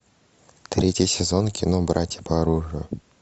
третий сезон кино братья по оружию